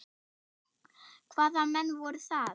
Hvaða menn voru það?